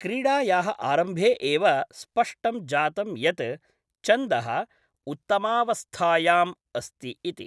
क्रीडायाः आरम्भे एव स्पष्टं जातं यत् चन्दः उत्तमावस्थायाम् अस्ति इति।